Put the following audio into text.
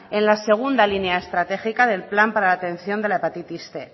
en la segunda línea estratégica del plan para la atención de la hepatitis cien